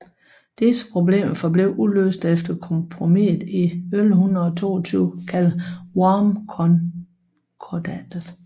Disse problemer forblev uløste efter kompromiset i 1122 kaldet Wormskonkordatet